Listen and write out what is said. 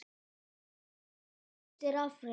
Bók Ágústs er afrek.